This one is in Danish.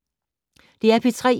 DR P3